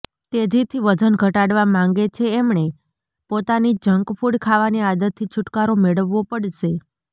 તેજીથીં વજન ઘટાડવા માંગે છે એમણે પોતાની જંક ફૂડ ખાવાની આદતથીં છૂટકારો મેળવવો પડશે